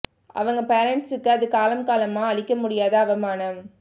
அவங்க பேரன்ட்ஸுக்கு அது காலம் காலமா அழிக்க முடியாத அவமானம்